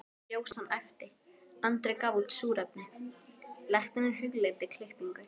Ljósan æpti, Andri gaf súrefni, læknirinn hugleiddi klippingu.